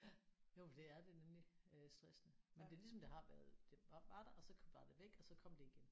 Ja jo for det er det nemlig øh stressende men det er ligesom det har været det var der og så var det væk og så kom det igen